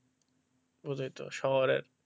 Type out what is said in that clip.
ওদের তো শহরে,